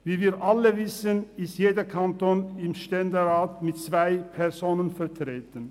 Wie wir alle wissen, ist jeder Kanton im Ständerat mit zwei Personen vertreten.